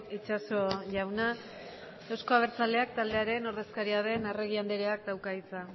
itxaso jauna euzko abertzaleak taldearen ordezkaria den arregi andreak dauka hitza